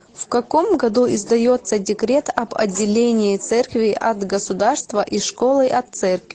в каком году издается декрет об отделении церкви от государства и школы от церкви